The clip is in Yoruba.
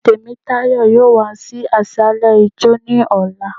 Temítàyọ́ yóò wa sí asàlẹ ijọ́, ni ọla